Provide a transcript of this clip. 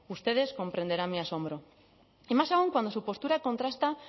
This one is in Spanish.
ustedes comprenderán mi asombro y más aún cuando su postura contrasta